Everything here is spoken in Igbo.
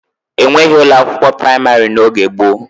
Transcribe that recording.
E nweghi ụlọ akwụkwọ praịmarị n'oge gboo.